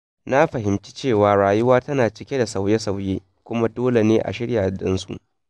Na fahimci cewa rayuwa tana cike da sauye-sauye, kuma dole ne a shirya don su.